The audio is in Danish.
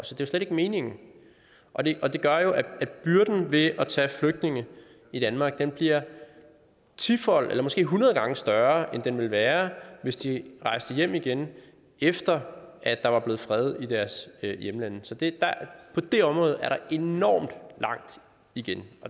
slet ikke meningen og det gør at byrden ved at tage flygtninge i danmark bliver tifold eller måske hundrede gange større end den ville være hvis de rejste hjem igen efter at der var blevet fred i deres hjemlande så på det område er der enormt langt igen